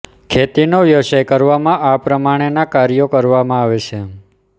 ખેતીનો વ્યવસાય કરવામાં આ પ્રમાણેનાં કાર્યો કરવામાં આવે છે